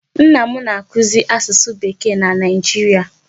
Nna m na-akụzị asusu Bekee na Nigeria.